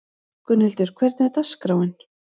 Gunnhildur, hvernig er dagskráin?